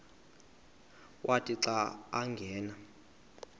wathi xa angena